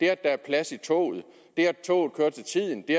er plads i toget det at toget kører til tiden det